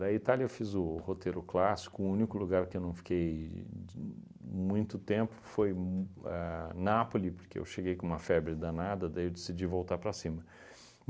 Da Itália eu fiz o roteiro clássico, o único lugar que eu não fiquei d muito tempo foi m ahn Napoli, porque eu cheguei com uma febre danada, daí eu decidi voltar para cima.